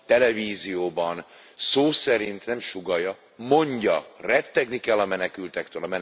televízióban szó szerint nem sugallja, mondja, rettegni kell a menekültektől.